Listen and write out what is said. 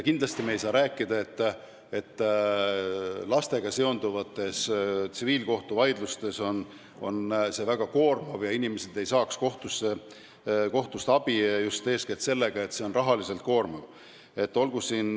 Kindlasti ei saa öelda, nagu lastega seonduvates tsiviilkohtuvaidlustes oleks väga koormav rahaline pool ja inimesed ei saaks kohtust abi just eeskätt rahalise koormuse tõttu.